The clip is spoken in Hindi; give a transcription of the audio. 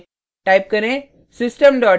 type करें